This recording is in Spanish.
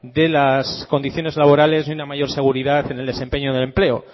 de las condiciones laborales y una mayor seguridad en el desempeño del empleo